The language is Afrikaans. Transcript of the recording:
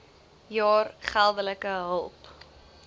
jaar geldelike hulp